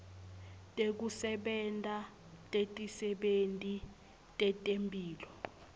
tekusebenta tetisebenti tetemphilo